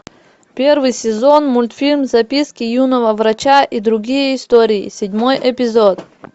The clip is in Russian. первый сезон мультфильм записки юного врача и другие истории седьмой эпизод